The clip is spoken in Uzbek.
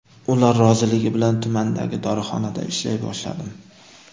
Ular roziligi bilan tumandagi dorixonada ishlay boshladim.